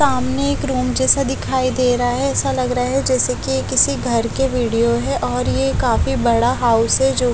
सामने एक रूम जैसा दिखाई दे रहा है ऐसा लग रहा है जैसे कि ये किसी घर के वीडियो है और ये काफी बड़ा हाउस है जो--